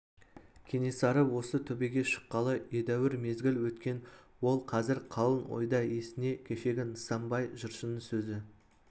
кенесары осы төбеге шыққалы едәуір мезгіл өткен ол қазір қалың ойда есіне кешегі нысанбай жыршының сөзі